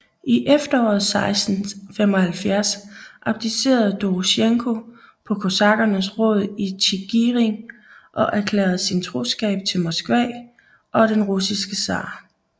I efteråret 1675 abdicerede Dorosjenko på kosakkernes råd i Tjigirin og erklærede sin troskab til Moskva og den russiske zar